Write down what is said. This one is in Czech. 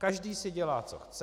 Každý si dělá, co chce.